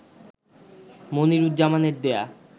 মনিরুজ্জামানের দেয়া